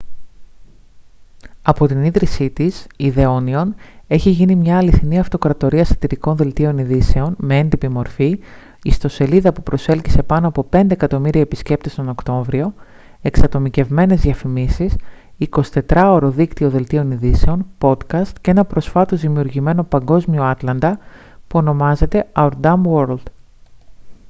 από την ίδρυσή της η the onion έχει γίνει μια αληθινή αυτοκρατορία σατιρικών δελτίων ειδήσεων με έντυπη μορφή ιστοσελίδα που προσέλκυσε πάνω από 5.000.000 επισκέπτες τον οκτώβριο εξατομικευμένες διαφημίσεις 24ωρο δίκτυο δελτίων ειδήσεων podcast και ένα προσφάτως δημιουργημένο παγκόσμιο άτλαντα που ονομάζεται «our dumb world»